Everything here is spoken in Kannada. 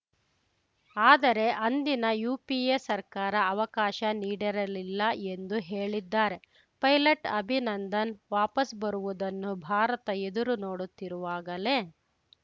ಆದರೆ ಅಂದಿನ ಯುಪಿಎ ಸರ್ಕಾರ ಅವಕಾಶ ನೀಡಿರಲಿಲ್ಲ ಎಂದು ಹೇಳಿದ್ದಾರೆ ಪೈಲಟ್‌ ಅಭಿನಂದನ್‌ ವಾಪಸ್‌ ಬರುವುದನ್ನು ಭಾರತ ಎದುರು ನೋಡುತ್ತಿರುವಾಗಲೇ